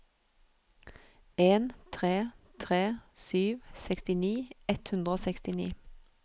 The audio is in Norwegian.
en tre tre sju sekstini ett hundre og sekstini